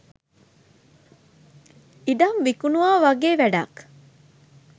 ඉඩම් විකුනුවා වැගේ වැඩක්.